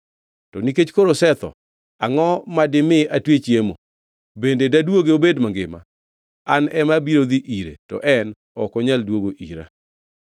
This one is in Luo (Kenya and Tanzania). To nikech koro osetho, angʼo dimi atwe chiemo? Bende daduoge obed mangima? An ema abiro dhi ire to en ok onyal duogo ira.”